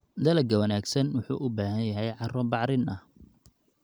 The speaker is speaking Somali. Dalagga wanaagsan wuxuu u baahan yahay carro bacrin ah.